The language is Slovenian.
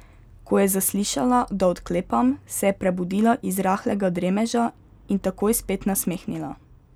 Ko je zaslišala, da odklepam, se je prebudila iz rahlega dremeža in takoj spet nasmehnila.